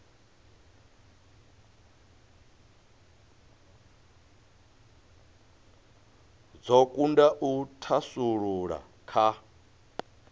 dzo kunda u thasululea kha